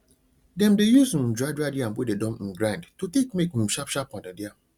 dem dey use um dried yam wey dem don um grind to take make um sharp sharp pounded yam